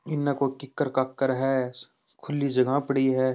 इने कोई कीकर काकर है खुली जगह पड़ी है ।